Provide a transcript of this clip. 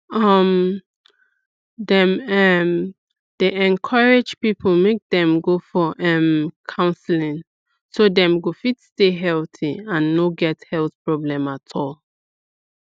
um dem um dey encourage people make dem go for um counseling so dem go fit stay healthy and no get health problem at all